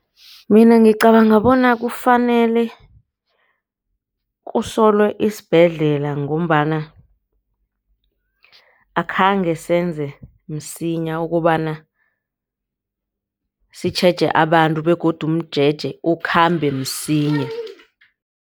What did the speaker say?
Mina ngicabanga bona kufanele kusolelwe isibhedlela ngombana akhange senze msinya ukobana sitjheje abantu begodu umjeje ukhambe msinya.